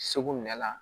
Segu nɛla